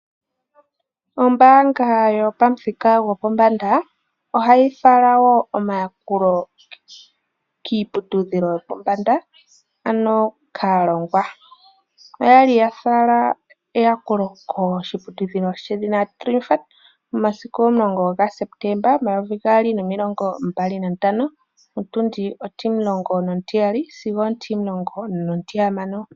Ombanga yopamuthika gopombanda ohayi falawo omayakulo kiiputudhilo yo pombanda ano kalongwa. Oyali ya fala eyakulo koshiputudhilo shedhina Triumph momasiku 10 ga Sepetemba 2025 ontundi 12 sigo 16.